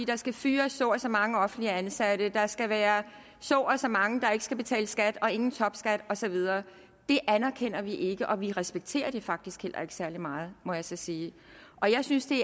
der skal fyres så og så mange offentligt ansatte der skal være så og så mange der ikke skal betale skat ingen topskat og så videre det anerkender vi ikke og vi respekterer det faktisk heller ikke særlig meget må jeg så sige jeg synes det